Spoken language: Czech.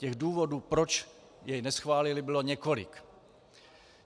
Těch důvodů, proč jej neschválili, bylo několik.